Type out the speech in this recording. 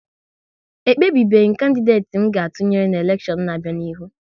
E kpebebeghi m kandideti m ga-atụnyere n'elekshion n'abia n'ihu